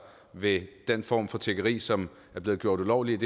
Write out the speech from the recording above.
ved den form for tiggeri som er blevet gjort ulovligt